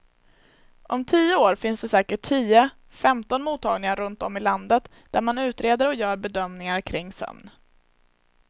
Om tio år finns det säkert tio, femton mottagningar runt om i landet där man utreder och gör bedömningar kring sömn.